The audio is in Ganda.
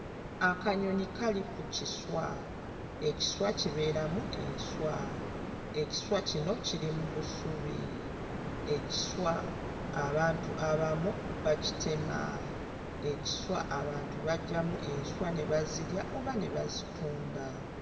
Akanyonyi kali ku kiswa, ekiswa kibeeramu enswa, ekiswa kino kiri mu busubi, ekiswa abantu abamu bakitema; ekiswa abantu baggyamu enswa ne bazirya oba ne bazitunda.